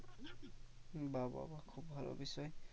বা বা বা খুব ভালো বিষয়।